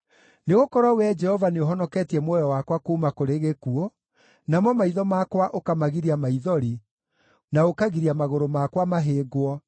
Nĩgũkorwo Wee Jehova nĩũhonoketie muoyo wakwa kuuma kũrĩ gĩkuũ, namo maitho makwa ũkamagiria maithori, na ũkagiria magũrũ makwa mahĩngwo,